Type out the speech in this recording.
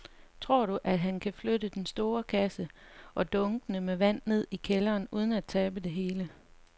Tror du, at han kan flytte den store kasse og dunkene med vand ned i kælderen uden at tabe det hele?